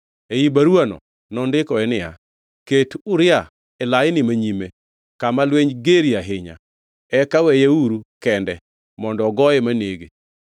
Ei baruwano nondikoe niya, “Ket Uria e laini manyime kama lweny gerie ahinya. Eka weyeuru kende mondo ogoye manege.”